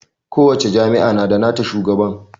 kowacce jami'a na da nata shugaban